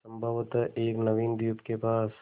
संभवत एक नवीन द्वीप के पास